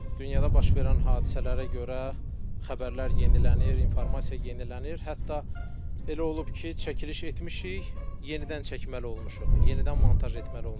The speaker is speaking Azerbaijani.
Dünyada baş verən hadisələrə görə xəbərlər yenilənir, informasiya yenilənir, hətta elə olub ki, çəkiliş etmişik, yenidən çəkməli olmuşuq, yenidən montaj etməli olmuşuq.